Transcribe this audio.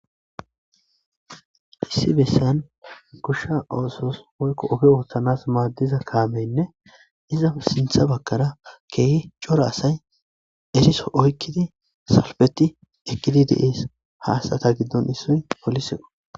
Issi bessan gushsha oosos hoykko ofe ooththanas maaddiza kaameynne iza sintha bakkara keehi cora asay esiso oykkidi salfeti ekkidi dees haasata giddon issoy poliseo.